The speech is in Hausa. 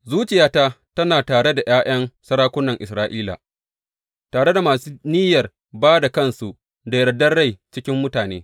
Zuciyata tana tare da ’ya’yan sarakunan Isra’ila, tare da masu niyyar ba da kansu da yardan rai cikin mutane.